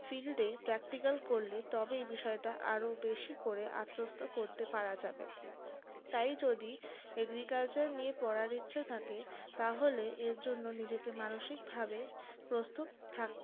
fieldpractical করলে তবেই বিষয়টা আরও বেশি করে আত্মস্থ করা যাবে তাই যদি agriculture নিয়ে পড়ার ইচ্ছে থাকে তাহলে এর জন্য নিজেকে মানসিক ভাবে প্রস্তুত থাকতে